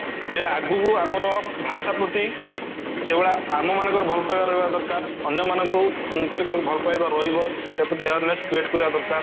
ଯେ ଆଗକୁ ଆମର ଭାଷା ପ୍ରତି ସେଇ ଭଳିଆ ଆମ ମାନଙ୍କର ଭଲ ପାଇବା ରହିବା ଦରକାର ଅନ୍ୟମାନଙ୍କୁ ଭଲ ପାଇବା ରହିବ awareness create କରିବା ଦରକାର